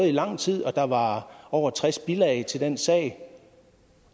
i lang tid og der var over tres bilag til den sag